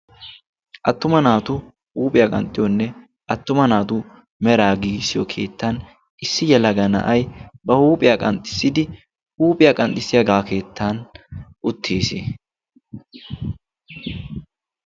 Attuma naatu huuphiyaa qanxxiyoonne attuma naatu mera giisiyo keettan issi yalaga na'ay ba huuphiyaa qanxxissidi huuphiyaa qanxxissiyaagaa keettan uttiis.